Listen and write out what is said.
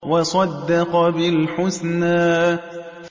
وَصَدَّقَ بِالْحُسْنَىٰ